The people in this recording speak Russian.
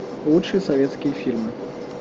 лучшие советские фильмы